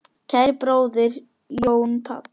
Kæri bróðir, Jón Páll.